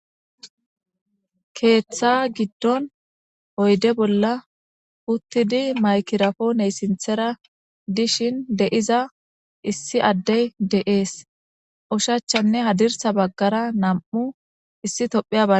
Keeththa giddon oyde bolla uttidi maykirapooney sinthera dishin d'iza issi addey de'ees ushachanne hadirsa baggara nam'u issi tophiyabaa.